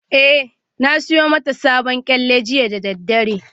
Eh, na siyo mata sabon kyalle jiya da daddare